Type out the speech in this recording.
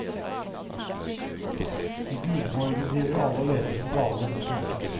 I gudeborgen driver alle og leter som gale. punktum